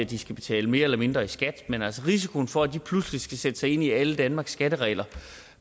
de skal betale mere eller mindre i skat men altså risikoen for at de pludselig skal sætte sig ind i alle danmarks skatteregler